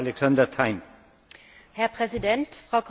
Herr Präsident, Frau Kommissarin, liebe Bürger!